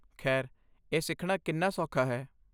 ਖੈਰ, ਇਹ ਸਿੱਖਣਾ ਕਿੰਨਾ ਸੌਖਾ ਹੈ?